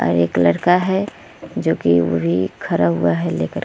और एक लड़का है जोकि खड़ा हुआ है लेकर --